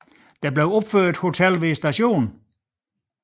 Der blev opført hotel ved stationen